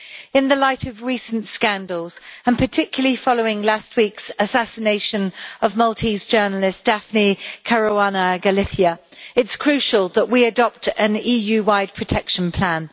In the light of recent scandals, and particularly following last week's assassination of Maltese journalist Daphne Caruana Galizia, it is crucial that we adopt an EU wide protection plan.